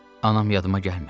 Anam yadıma gəlmir.